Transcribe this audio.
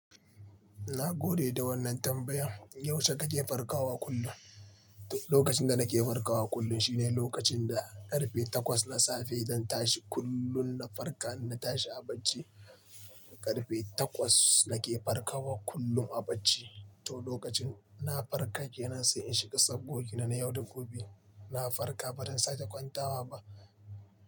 Na gode da wannan tambayan. Yaushe kake farkawa kullum? Lokacin da nake farkawa kullum shine lokacin da karfe takwas na safe zan tashi kullum na farka, na tashi a bacci karfe takwas nake farkawa kullum a bacci. To lokacin na farka kenan sai in shiga sabgogina na yau da gobe. Na farka baran sake kwantawa ba.